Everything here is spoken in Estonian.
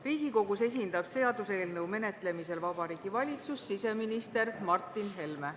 Riigikogus esindab seaduseelnõu menetlemisel Vabariigi Valitsust siseminister Mart Helme.